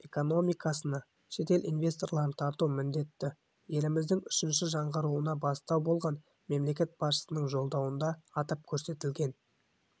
экономикасына шетел инвестицияларын тарту міндеті еліміздің үшінші жаңғыруына бастау болған мемлекет басшысының жолдауында атап көрсетілген